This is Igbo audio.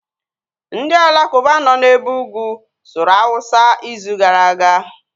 Ndị alakuba nọ na ebe ugwu sụrụ awụsa izu gara aga